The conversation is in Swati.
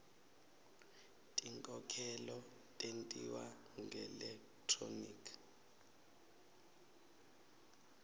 tinkhokhelo tentiwa ngelekthroniki